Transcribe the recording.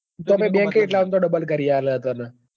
bank એ એટલાં મ તો double કરી આલે તન